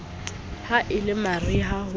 ha e le mariha ho